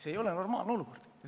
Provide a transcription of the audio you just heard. See ei ole normaalne olukord.